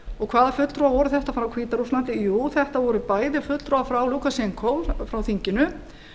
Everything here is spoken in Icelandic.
og hvaða fulltrúar voru þetta frá hvíta rússlandi jú þetta voru bæði fulltrúar frá lúkasjenkó frá þinginu